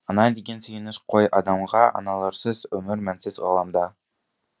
ана деген сүйеніш қой адамға аналарсыз өмір мәнсіз ғаламда